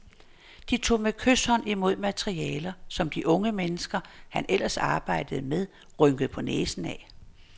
De tog med kyshånd imod materialer, som de unge mennesker, han ellers arbejdede med, rynkede på næsen ad.